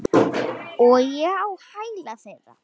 Og ég á hæla þeirra.